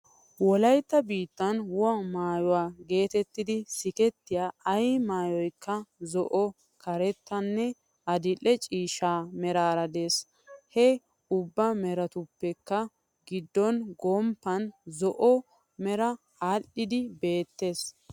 Wolaytta biittan woha maayo geetettidi sikettiya ay maayoykka zo'o, karettanne adidhdhe ciishsha meraara dees. He ubba meratuppekka giddo gomppan zo'o meray aadhdhi beettees.